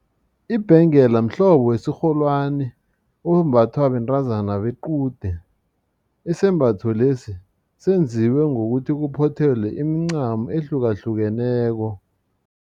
Ibhengela mhlobo wesirholwana ombathwa bentazana bequde isembatho lesi senziwe ngokuthi kuphothelwe imincamo ehlukahlukeneko.